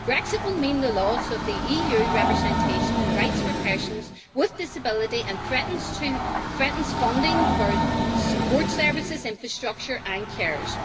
Brexit will mean the loss of the EU representation and rights for persons with disability and threatens funding for support services, infrastructure and carers.